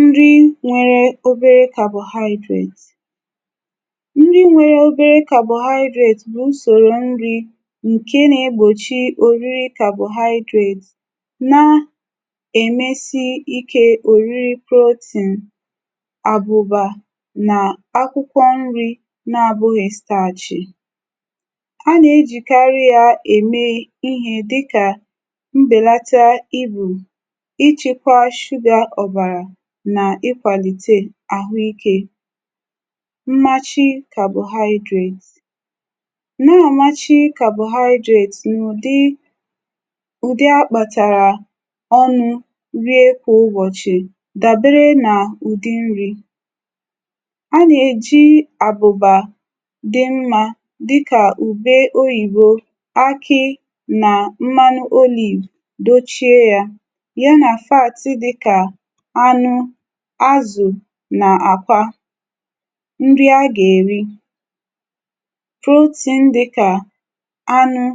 Nri nwere obere carbohydrate. Nri nwere obere carbohydrate bụ usoro nri nke na-egbochi obere carbohydrate na-emesi ike oriri protein, àbụ̀bà na akwụkwọ nri na-abụghị staachị. A na-ejikarị ya eme ihe dị ka mbelata íbù, ichekwa sugar ọbara na ịkwalite ahụike. Mmachi Carbohydrate. Na-amachi carbohydrate n'ụdị ụdị a kpatara ọnụ rie kwa ụbọchị dabere n'ụdị nri. A na-eji àbụ̀bà dị mma dị ka ubé oyibo, ákị́ na mmanụ olive dochie ya, ya na fats dị ka ánụ́, ázụ̀ na àkwá. Nri a ga-eri. Protein dị ka ánụ́,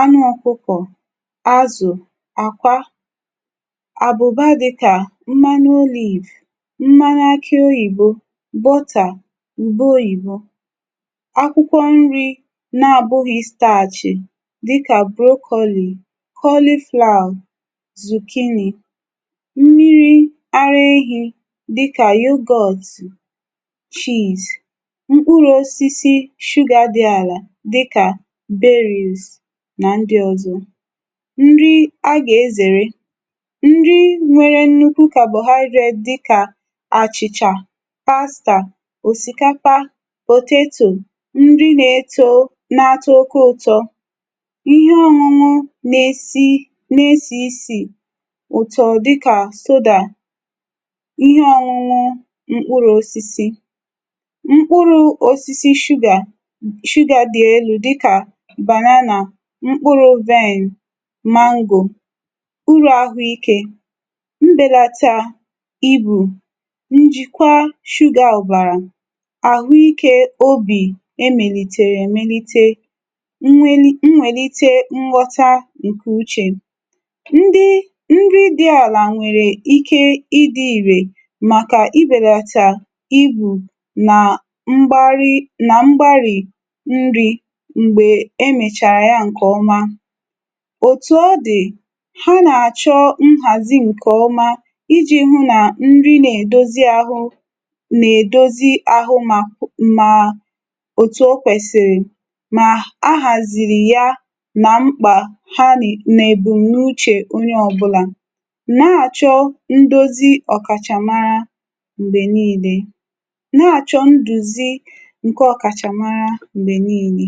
anụ ọkụkọ, ázụ̀, àkwá. Àbụ̀bá dị ka mmanụ olive, mmanụ akị oyibo, butter, ubé oyibo. Akwụkwọ nri na-abụghị staachị dị ka broccoli, cauliflower, zucchini. Mmiri ara ehi dị ka yoghurt, cheese. Mkpụrụ osisi sugar dị ala dị ka berries na ndị ọzọ. Nri A ga-ezere. Nri nwere nnukwu carbohydrate dị ka achịcha, osikapa, potato, nri na-eto na-atọ oke ụtọ, ihe ọṅụṅụ na-esí na-ési isi ụtọ dị ka soda. ihe ọṅụṅụ Mkpụrụ osisi. Mkpụrụ osisi sugar sugar dị elú dịka banana, mkpụrụ vine, mango. Uru ahụ ike. Mbelata íbù, njikwa sugar ọbara, ahụike óbì emenitere emenite, mweli mwelite nghọta nke uche. Ndị nri dị ala nwere ike ịdị irè maka ibelata íbù na mgbárị́ na mgbárị̀ nri mgbe e mechara ya nke ọma. Otu ọ dị, ha na-achọ nhazi nke ọma i ji hụ na nri na-edozi ahụ na-edozi ahụ ma ma otu o kwesịrị ma a haziri ya na mkpa ha n na ebumnuche onye ọbụla na-achọ ndozi ọkachamara mgbe niile na-achọ nduzi nke ọkachamara mgbe niile.